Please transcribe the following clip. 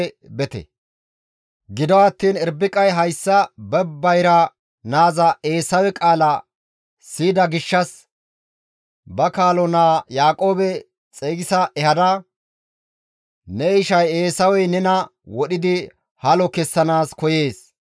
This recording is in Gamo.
Giddotiin Irbiqay hayssa ba bayra naaza Eesawe qaala siyida gishshas ba kaalo naa Yaaqoobe xeygisa ehada, «Ne ishay Eesawey nena wodhidi halo kessanaas koyees.